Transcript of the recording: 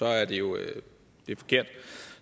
er det jo forkert